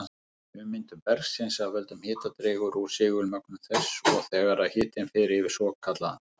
Ummyndun bergsins af völdum hita dregur úr segulmögnun þess, og þegar hitinn fer yfir svokallaðan